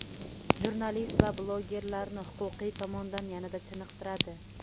jurnalist va blogerlarni huquqiy tomondan yanada chiniqtiradi.